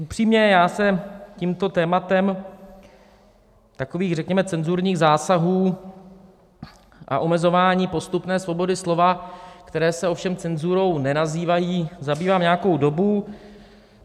Upřímně, já se tímto tématem, takových řekněme cenzurních zásahů a omezování postupné svobody slova, které se ovšem cenzurou nenazývají, zabývám nějakou dobu.